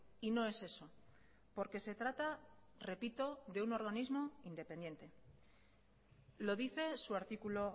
y no es eso porque se trata repito de un organismo independiente lo dice su artículo